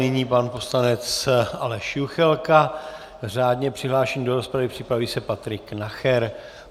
Nyní pan poslanec Aleš Juchelka, řádně přihlášený do rozpravy, připraví se Patrik Nacher.